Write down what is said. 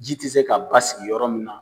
Ji tɛ se ka basigi yɔrɔ min na.